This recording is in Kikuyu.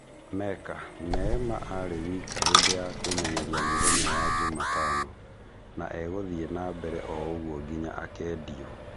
(Meka) Neema arĩ wika hĩndĩ ya kũĩmenyeria mũthenya wa Jumatano, na e-gũthiĩ nambere ũguo nginya akendio.